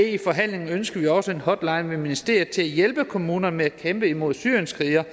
i forhandlingen ønskede vi også en hotline i ministeriet til at hjælpe kommunerne med at kæmpe imod syrienskrigere